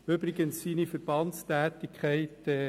Ich bitte die Stimmenzähler, die Kuverts auszuteilen.